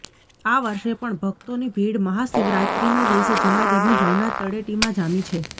આ વર્ષે પણ ભકતોની ભીડ મહાશિવરાત્રીના દિવસે જૂનાગઢની ભવનાથ તળેટીમાં જામી છે